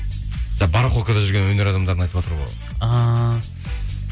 барахолкада жүрген өнер адамдарын айтыватр ғой ааа